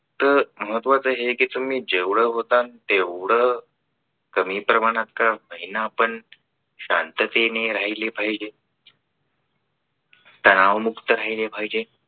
तर महत्वाचे हे आहे की तुम्ही जेवढं होतं तेवढं कमी प्रमाणात का होईना पण शांततेने राहिले पाहिजे. तणावमुक्त राहिले पाहिजे.